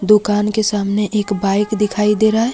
दुकान के सामने एक बाइक दिखाई दे रहा है।